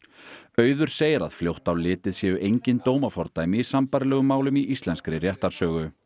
auður segir að fljótt á litið séu engin dómafordæmi í sambærilegum málum í íslenskri réttarsögu